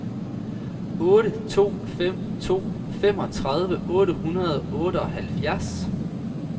otte to fem to femogtredive otte hundrede og otteoghalvfjerds